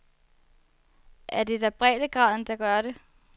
Er det da breddegraden, der gør det?